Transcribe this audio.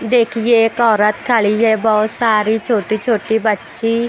देखिए एक औरत खड़ी है बहुत सारी छोटी-छोटी बच्ची--